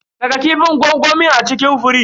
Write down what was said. Saka kifin gwangwamin a cikin firij.